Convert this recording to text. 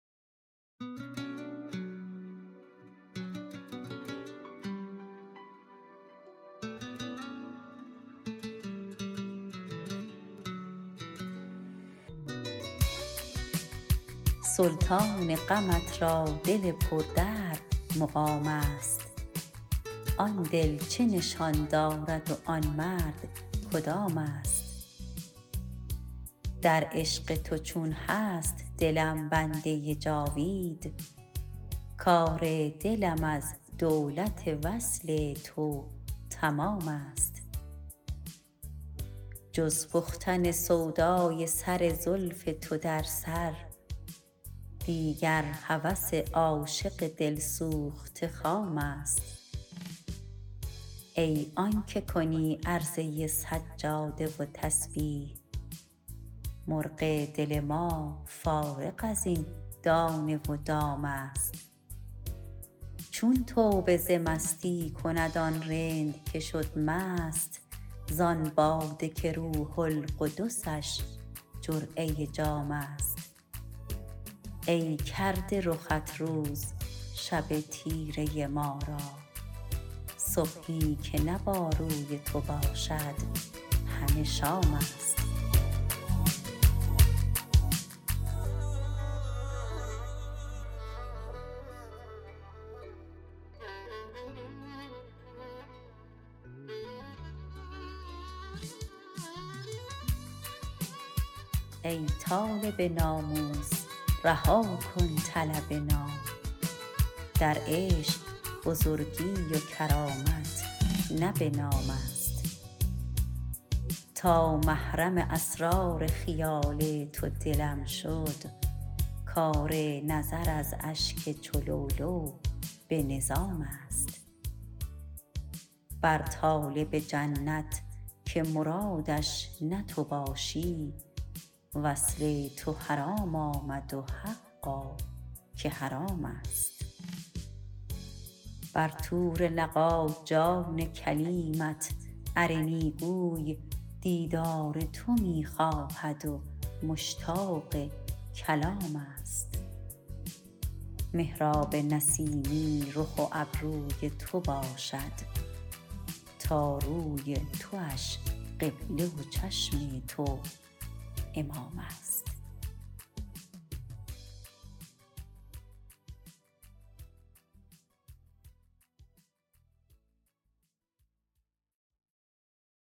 سلطان غمت را دل پردرد مقام است آن دل چه نشان دارد و آن مرد کدام است در عشق تو چون هست دلم بنده جاوید کار دلم از دولت وصل تو تمام است جز پختن سودای سر زلف تو در سر دیگر هوس عاشق دلسوخته خام است ای آن که کنی عرضه سجاده و تسبیح مرغ دل ما فارغ از این دانه و دام است چون توبه ز مستی کند آن رند که شد مست زان باده که روح القدسش جرعه جام است ای کرده رخت روز شب تیره ما را صبحی که نه با روی تو باشد همه شام است ای طالب ناموس رها کن طلب نام در عشق بزرگی و کرامت نه به نام است تا محرم اسرار خیال تو دلم شد کار نظر از اشک چو لؤلؤ به نظام است بر طالب جنت که مرادش نه تو باشی وصل تو حرام آمد و حقا که حرام است بر طور لقا جان کلیمت ارنی گوی دیدار تو می خواهد و مشتاق کلام است محراب نسیمی رخ و ابروی تو باشد تا روی تواش قبله و چشم تو امام است